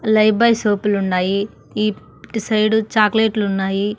లై బాయ్ సోపులున్నాయి ఇట్టు సైడు చాక్లెట్లున్నాయి .